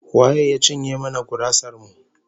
Wa ya cinye mana gurasar mu?